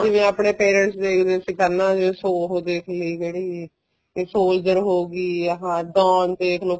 ਜਿਵੇਂ ਆਪਣੇ parents ਦੇਖਦੇ ਸੀ ਪਹਿਲਾਂ ਉਹ ਦੇਖਲੀ ਕਿਹੜੀ soldier ਹੋਗੀ ਆਹ don ਦੇਖਲੋ